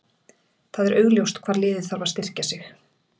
Það er augljóst hvar liðið þarf að styrkja sig.